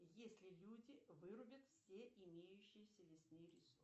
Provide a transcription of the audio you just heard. если люди вырубят все имеющиеся лесные ресурсы